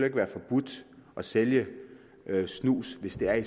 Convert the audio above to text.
ikke være forbudt at sælge snus hvis det er i